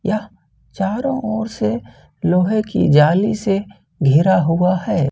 यह चारों ओर से लोहे की जाली से घेरा हुआ है।